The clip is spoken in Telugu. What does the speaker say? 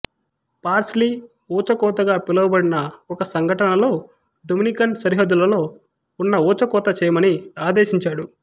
పార్స్లీ ఊచకోతగా పిలువబడిన ఒక సంఘటనలో డొమినికన్ సరిహద్దులలో ఉన్న ఊచకోతచేయమని ఆదేశించాడు